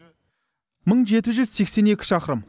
мың жеті жүз сексен екі шақырым